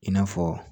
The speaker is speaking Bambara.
I n'a fɔ